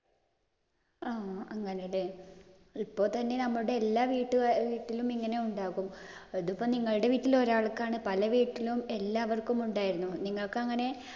ആ അങ്ങനെ അല്ലേ. ഇപ്പോൾ തന്നെ നമ്മുടെ എല്ലാ വീട്ടിലും ഇങ്ങനെ ഉണ്ടാകും. അതിപ്പോ നിങ്ങളുടെ വീട്ടിൽ ഒരാൾക്കാണ് പല വീട്ടിലും എല്ലാവർക്കും ഉണ്ടായിരുന്നു. നിങ്ങള്‍ക്കങ്ങനെ